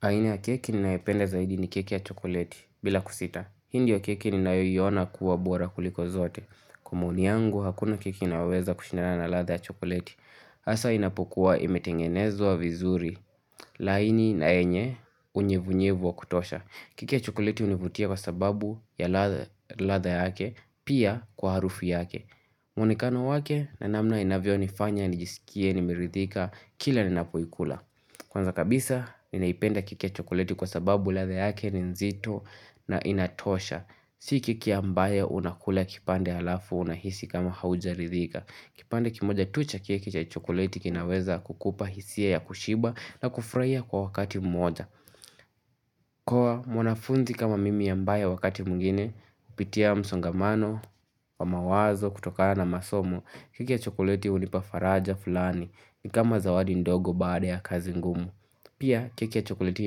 Haina ya keki ninayipenda zaidi ni keki ya chokoleti bila kusita. Hii ndiyo keki ninayoiona kuwa bora kuliko zote. Kwa maoni yangu hakuna keki inayoweza kushindana na ladha ya chokoleti. Asa inapokuwa imetengenezwa vizuri. Laini na yenye unyevunyevu wa kutosha. Keki ya chokoleti hunivutia kwa sababu ya ladha yake pia kwa harufu yake. Mwonekano wake na namna inavyonifanya, nijisikie, nimerithika, kila ninapoikula. Kwanza kabisa, ninaipenda keki ya chokoleti kwa sababu ladha yake ni nzito na inatosha. Si keki ambaya unakula kipande halafu unahisi kama haujaridhika. Kipande kimoja tu cha keki cha chokoleti kinaweza kukupa hisia ya kushiba na kufraia kwa wakati mmoja. Kwa mwanafunzi kama mimi ambaye wakati mwingine, hupitia msongamano wa mawazo kutokana na masomo, keki ya chokoleti hunipa faraja fulani ni kama zawadi ndogo baada ya kazi ngumu. Pia keki ya chokoleti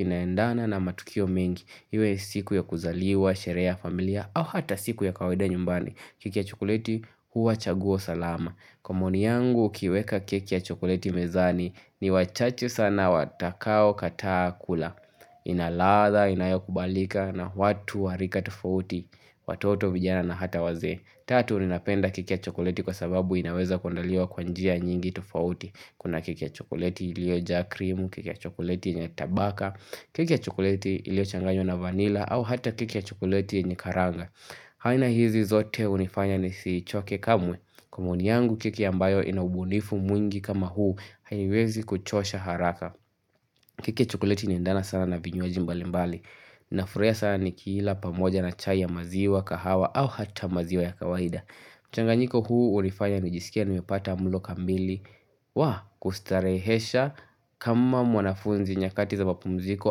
inaendana na matukio mengi, iwe siku ya kuzaliwa, sheree ya familia au hata siku ya kawaida nyumbani, keki ya chokoleti huwa chaguo salama. Kwa maoni yangu ukiweka keki ya chokoleti mezani ni wachache sana watakaokataa kula. Ina ladha, inayokubalika na watu wa rika tofauti, watoto vijana na hata wazee. Tatu, ninapenda keki ya chokoleti kwa sababu inaweza kuandaliwa kwa njia nyingi tofauti. Kuna keki ya chokoleti iliojaa krimu, keki ya chokoleti yenye tabaka, keki ya chokoleti iliochanganywa na vanilla, au hata keki ya chokoleti yenye karanga. Aina hizi zote hunifanya nisichoke kamwe. Kwa maoni yangu keki ambayo ina ubunifu mwingi kama huu, haiwezi kuchosha haraka. Keki ya chokoleti inaendana sana na vinywaji mbalimbali. Ninafurahia sana nikiila pamoja na chai ya maziwa kahawa au hata maziwa ya kawaida mchanganyiko huu ulifanya nijisikie nimepata mlo kamili wa kustarehesha kama mwanafunzi nyakati za mapumziko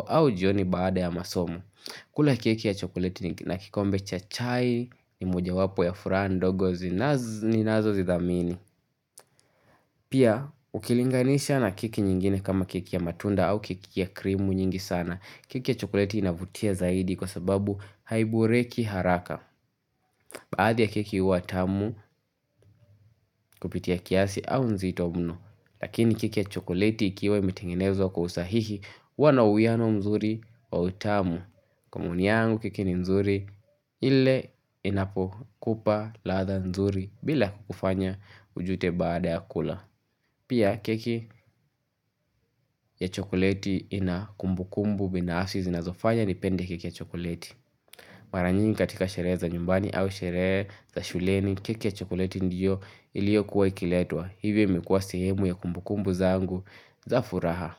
au jioni baada ya masomo kula keki ya chokoleti ni na kikombe cha chai ni mojawapo ya furaha ndogo zinazo ninazozidhamini Pia ukilinganisha na keki nyingine kama keki ya matunda au keki ya krimu nyingi sana keki ya chokoleti inavutia zaidi kwa sababu haiboreki haraka. Baadhi ya keki huwa tamu kupitia kiasi au nzito mno. Lakini keki ya chokoleti ikiwa imetengenezwa kwa usahihi huwa na uwiano mzuri wa utamu. Kwa maoni yangu keki ni mzuri ile inapokupa ladha mzuri bila kukufanya ujute baada ya kula. Pia keki ya chokoleti ina kumbukumbu binafsi zinazofanya nipende keki ya chokoleti. Mara nyingi katika sherehe za nyumbani au sherehe za shuleni keki ya chokoleti ndiyo iliokuwa ikiletwa hivyo imekuwa sehemu ya kumbukumbu zangu za furaha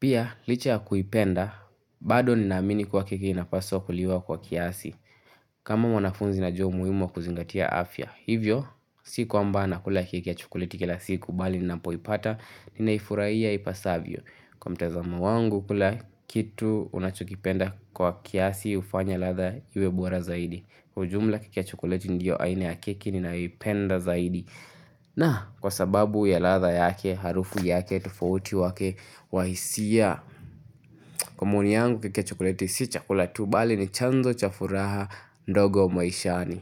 Pia licha ya kuipenda bado ninaamini kuwa keki inapaswa kuliwa kwa kiasi kama mwanafunzi najua umuhimu wa kuzingatia afya Hivyo si kwamba nakula keki ya chokoleti kila siku bali ninapoipata ninaifuraia ipasavyo Kwa mtazamo wangu kila kitu unachokipenda kwa kiasi hufanya ladha iwe bora zaidi Kwa ujumla keki ya chokoleti ndio aina ya keki ninayoipenda zaidi na kwa sababu ya ladha yake harufu yake tofauti wake wa hisia Kwa maoni yangu keki ya chokoleti si chakula tu bali ni chanzo cha furaha ndogo maishani.